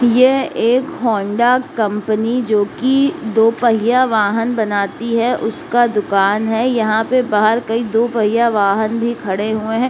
ये एक Honda company जो की दो पहिया वाहन बनाती है उसका दुकान है। यहाँ पे बाहर कइ दो पहिया वाहन भी खड़े हुए हैं।